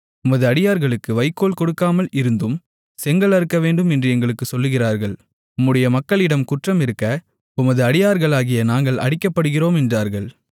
உமது அடியார்களுக்கு வைக்கோல் கொடுக்காமல் இருந்தும் செங்கல் அறுக்கவேண்டும் என்று எங்களுக்குச் சொல்லுகிறார்கள் உம்முடைய மக்களிடம் குற்றம் இருக்க உமது அடியார்களாகிய நாங்கள் அடிக்கப்படுகிறோம் என்றார்கள்